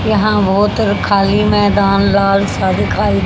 यहां बहुत खाली मैदान लाल सा दिखाई--